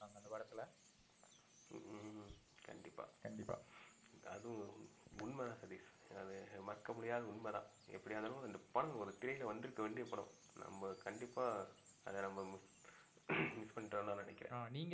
ஹம் கண்டிப்பா கண்டிப்பா. அது உண்மை தான் சதீஷ். அது மறுக்க முடியாத உண்மைதான். எப்டியா இருந்தாலும் அந்த படம் திரையில வந்து இருக்குற வேண்டிய படம் நம்ப கண்டிப்பா அத நம்ப miss பண்ணிட்டோம் நான் நினைக்கிறான் உம் நீங்க